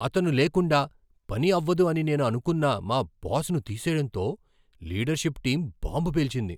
అతను లేకుండా పని అవ్వదు అని నేను అనుకొన్న మా బాస్ను తీసేయడంతో లీడర్షిప్ టీం బాంబు పేల్చింది.